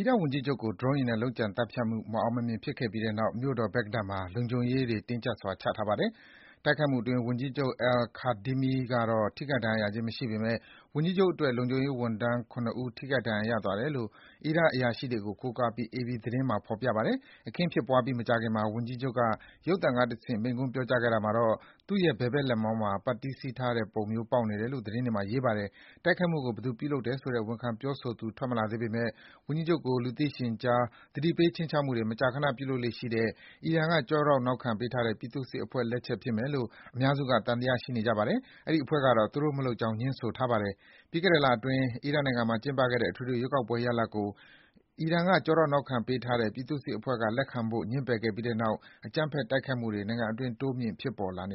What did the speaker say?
ီရတ်ဝန်ကြီးချုပ်ကို ဒရုန်းယာဉ်နဲ့ လုပ်ကြံသတ်ဖြတ်မှု မအောင်မမြင် ဖြစ်ခဲ့ပြီးတဲ့နောက် မြို့တော် ဘဂ္ဂဒက်မှာ လုံခြုံရေးတွေ တင်းကျပ်စွာ ချထားပါတယ်။ တိုက်ခိုက်မှုအတွင်း ဝန်ကြီးချုပ် Al-Kadhimi ကတော့ ထိခိုက်ဒဏ်ရာရခြင်း မရှိပေမယ့် ဝန်ကြီးချုပ်အတွက် လုံခြုံရေးဝန်ထမ်း ၇ ဦး ထိခိုက်ဒဏ်ရာ ရသွားတယ်လို့ အီရတ်အရာရှိတွေကို ကိုးကားပြီး အေပီသတင်းမှာ ရေးပါတယ်။ အခင်းဖြစ်ပွားပြီး မကြာခင်မှာ ဝန်ကြီးချုပ်က ရုပ်သံကတဆင့် မိန့်ခွန်းပြောကြားတာမှာတော့ သူ့ရဲ့ ဘယ်ဘက်လက်မောင်းမှာ ပတ်တီးစည်းထားတဲ့ပုံမျိုး ပေါက်နေတယ်လို့ သတင်းတွေမှာ ရေးပါတယ်။ တိုက်ခိုက်မှုကို ဘယ်သူပြုလုပ်တယ်ဆိုတဲ့ ဝန်ခံပြောဆိုသူ ထွက်မလာသေးပေမယ့် ဝန်ကြီးချုပ်ကို လူသိရှင်ကြား သတိပေး ခြိမ်းခြောက်မှုတွေ မကြာခန ပြုလုပ်လေ့ရှိတဲ့ အီရန်က ကျောထောက်နောက်ခံပေးထားတဲ့ ပြည်သူ့စစ်အဖွဲ့လက်ချက် ဖြစ်မယ်လို့ အများစုက သံသယရှိနေကြပါတယ်။ အဲဒီအဖွဲ့ကတော့ သူတို့မလုပ်ကြောင်း ငြင်းဆိုထားပါတယ်။ ပြီးခဲ့တဲ့လအတွင်း အီရတ်နိုင်ငံမှာ ကျင်းပခဲ့တဲ့ အထွေထွေရွေးကောက်ပွဲရလဒ်ကို အီရန်က ကျောထောက်နောက်ခံပေးထားတဲ့ ပြည်သူ့စစ်အဖွဲ့က လက်ခံဖို့ ငြင်းပယ်ခဲ့ပြီးနောက် အကြမ်းဖက် တိုက်ခိုက်မှုတွေ နိုင်ငံအတွင်း တိုးမြင့် ဖြစ်ပေါ်လာန